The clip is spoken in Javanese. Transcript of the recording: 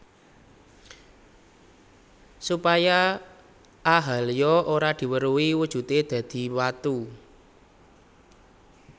Supaya Ahalya ora diweruhi wujudé dadi watu